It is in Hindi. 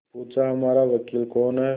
पूछाहमारा वकील कौन है